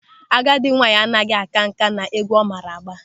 Agadi nwaanyị anaghị a ka nkà n'égwú ọ maara agba.